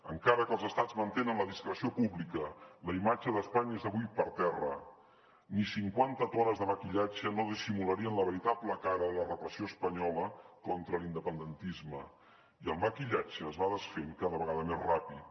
encara que els estats mantenen la discreció pública la imatge d’espanya és avui per terra ni cinquanta tones de maquillatge no dissimularien la veritable cara de la repressió espanyola contra l’independentisme i el maquillatge es va desfent cada vegada més ràpid